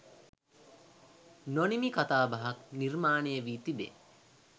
නොනිමි කතාබහක් නිර්මාණය වී තිබේ